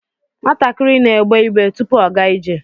Nwatakịrị na-egbe igbe tupu ọ gaa ije